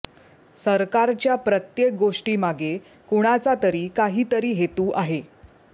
सरकारच्या प्रत्येक गोष्टीमागे कुणाचा तरी काही तरी हेतू आहे